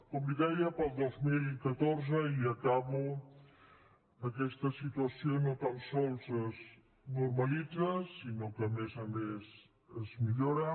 com li deia per al dos mil catorze i acabo aquesta situació no tan sols es normalitza sinó que a més a més es millora